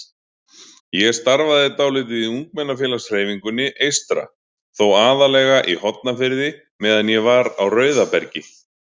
Ég starfaði dálítið í ungmennafélagshreyfingunni eystra, þó aðallega í Hornafirði meðan ég var á Rauðabergi.